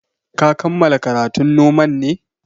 Ka kammala karatun noman ne?